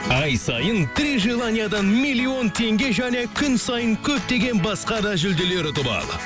ай сайын три желаниядан миллион теңге және күн сайын көптеген басқа да жүлделер ұтып ал